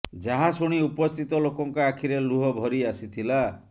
ଯାହା ଶୁଣି ଉପସ୍ଥିତ ଲୋକଙ୍କ ଆଖିରେ ଲୁହ ଭରି ଆସିଥିଲା